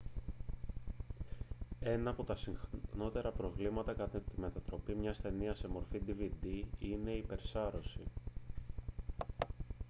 ένα από τα συχνότερα προβλήματα κατά τη μετατροπή μια ταινίας σε μορφή dvd είναι η υπερσάρωση